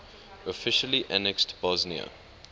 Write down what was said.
officially annexed bosnia